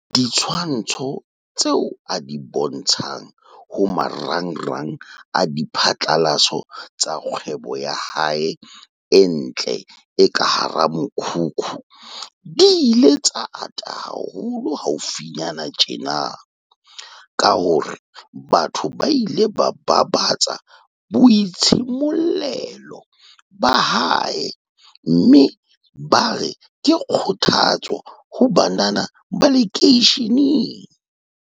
Ditshwantsho tseo a di bontshang ho maranrang a diphatlalatso tsa kgwebo ya hae e ntle e ka hara mokhukhu di ile tsa ata haholo haufinyana tjena, ka hore batho ba ile ba babatsa boitshimollelo ba hae mme bare ke kgothatso ho banana ba lekeisheneng.